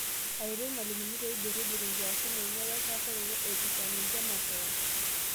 Aaretu irmalimuni peibirribirr inkiasin enye werasaroto eipirta ninye makeon.